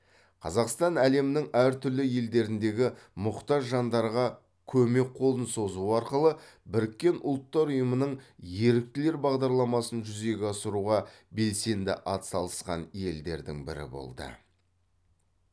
қазақстан әлемнің әртүрлі елдеріндегі мұқтаж жандарға көмек қолын созу арқылы біріккен ұлттар ұйымының еріктілер бағдарламасын жүзеге асыруға белсенді атсалысқан елдердің бірі болды